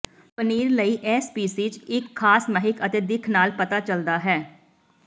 ਪਨੀਰ ਲਈ ਇਹ ਸਪੀਸੀਜ਼ ਇੱਕ ਖਾਸ ਮਹਿਕ ਅਤੇ ਦਿੱਖ ਨਾਲ ਪਤਾ ਚੱਲਦਾ ਹੈ